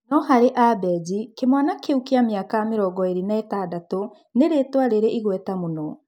No-harĩ Abenji kĩmwana kĩu kĩa mĩaka mĩrongoĩrĩ na ĩtandatũ nĩ rĩtwa riri igweta mũno.